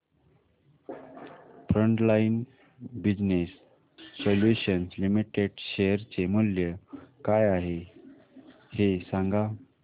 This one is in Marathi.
frontline business solutions limited share चे मूल्य काय आहे हे सांगा